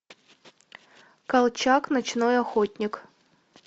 колчак ночной охотник